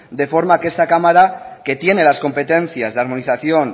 de forma que esta cámara que tiene las competencias de armonización